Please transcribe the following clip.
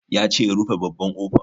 Ya ce in rufe babban ƙofa